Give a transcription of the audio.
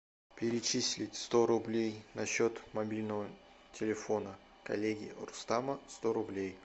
перечислить сто рублей на счет мобильного телефона коллеги рустама сто рублей